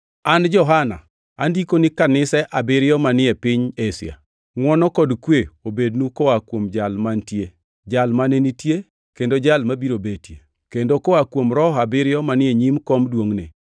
An Johana, Andiko ni kanise abiriyo manie piny Asia: Ngʼwono kod kwe obednu koa kuom Jal mantie, Jal mane nitie kendo Jal mabiro betie, kendo koa kuom Roho abiriyo manie nyim kom duongʼne,